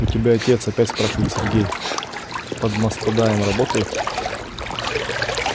у тебя отец опять спрашивает сергей под мастдаем работает